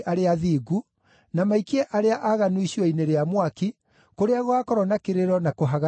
na maikie arĩa aaganu icua-inĩ rĩa mwaki, kũrĩa gũgaakorwo na kĩrĩro na kũhagarania magego.”